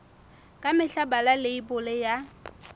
ka mehla bala leibole ya